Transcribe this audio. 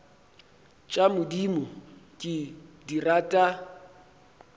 tša modimo ke di rata